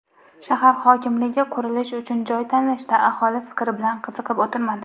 Shahar hokimligi qurilish uchun joy tanlashda aholi fikri bilan qiziqib o‘tirmadi.